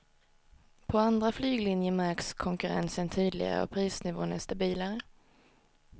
På andra flyglinjer märks konkurrensen tydligare och prisnivån är stabilare.